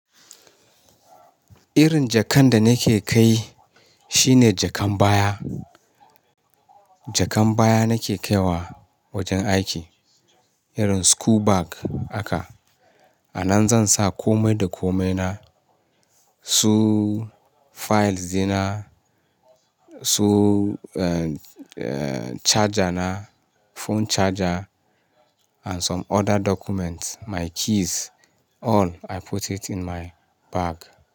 Irin jakan da nake kai shine jakan baya. Jakan baya nake kaiwa wajen aiki, irin school bag aka. A nan zan sa komai da komaina, su files dina, su, eh, eh, charger na, phone charger and some other documents, my keys all I put it in my bag.